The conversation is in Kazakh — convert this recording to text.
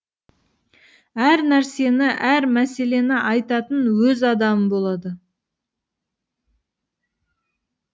әр нәрсені әр мәселені айтатын өз адамы болады